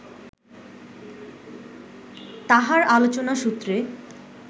তাঁহার আলোচনা সূত্রে